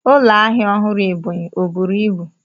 Ụlọ ahịa ọhụrụ Ebonyi ọ buru ibu?